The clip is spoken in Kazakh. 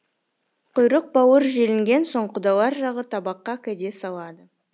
құйрық бауыр желінген соң құдалар жағы табаққа кәде салады